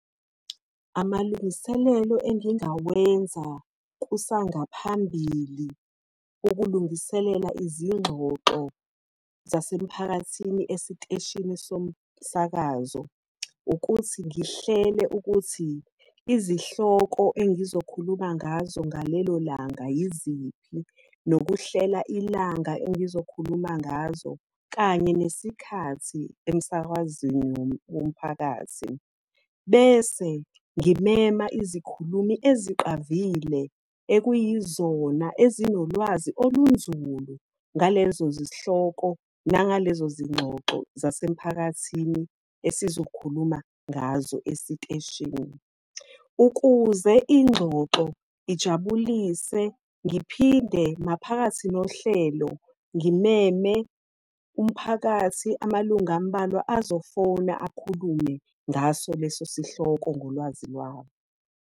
Amalungiselelo engingawenza kusangaphambili ukulungiselela izingxoxo zasemphakathini esiteshini somsakazo, ukuthi ngihlele ukuthi izihloko engizokhuluma ngazo ngalelo langa yiziphi. Nokuhlela ilanga engizokhuluma ngazo, kanye nesikhathi emsakazweni womphakathi. Bese ngimema izikhulumi eziqavile, ekuyizona ezinolwazi olunzulu ngalezo zihloko nangalezo zingxoxo zasemphakathini esizokhuluma ngazo esiteshini. Ukuze ingxoxo ijabulise, ngiphinde maphakathi nohlelo ngimeme umphakathi, amalunga amubalwa azofona akhulume ngaso leso sihloko ngolwazi lwabo.